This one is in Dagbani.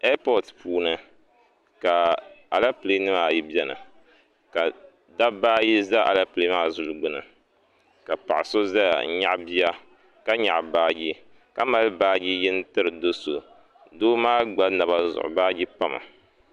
Ɛapɔt puuni ka alɛpilɛ nima ayi bɛni ka dabba ayi za alɛpilɛ maa zuli gbuni ka paɣa so zaya n nyaɣi bia ka nyaɣi baaji ka mali baaji yini tiri doo so doo maa gba naba zuɣu baaji pami.